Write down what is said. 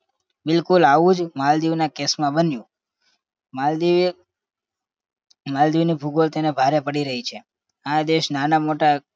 બિલકુલ આવું જ માલદીવ ના case માં બન્યું માલદીવ માલદીવ ની ભૂગોળ તેને ભારે પડી રહી છે. આ દેશ નાના મોટા